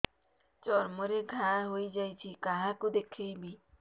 ଚର୍ମ ରେ ଘା ହୋଇଯାଇଛି କାହାକୁ ଦେଖେଇବି